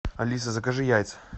алиса закажи яйца